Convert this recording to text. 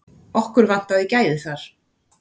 Okkur vantaði gæði þar.